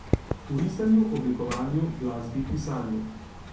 V risanju, oblikovanju, glasbi, pisanju.